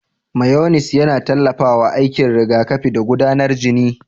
Mayones yana tallafawa aikin rigakafi da gudanar jini.